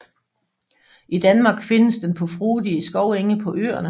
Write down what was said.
I Danmark findes den på frodige skovenge på Øerne